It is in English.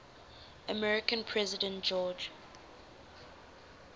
american president george